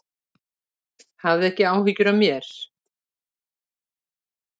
Hafðu ekki áhyggjur af mér.